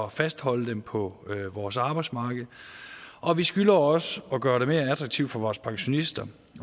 at fastholde dem på vores arbejdsmarked og vi skylder også at gøre det mere attraktivt for vores pensionister